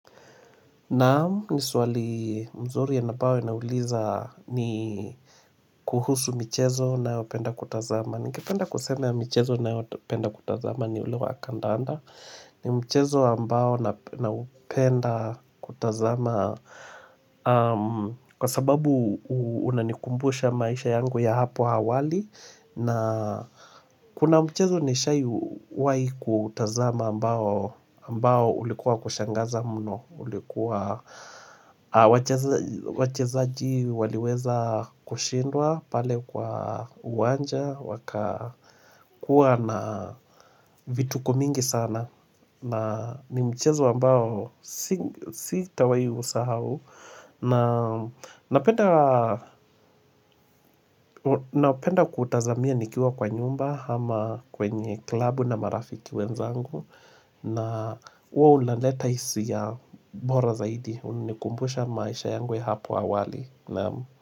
Naam ni swali mzuri ambayo inauliza ni kuhusu michezo ninayopenda kutazama. Ningependa kusema mchezo ninayopenda kutazama ni ule wa kandanda. Ni mchezo ambao na naupenda kutazama kwa sababu unanikumbusha maisha yangu ya hapo awali. Na kuna mchezo nishawai kutazama ambao ulikuwa kushangaza mno. Ulikuwa wachezaji waliweza kushindwa pale kwa uwanja Wakakuwa na vitukonmingi sana na ni mchezo ambao sitawai usahau na penda kutazamia nikiwa kwa nyumba ama kwenye klabu na marafiki wenzangu na hua hulaleta hisia bora zaidi Unanikumbusha maisha yangu ya hapo awali Naam.